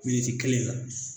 kelen kan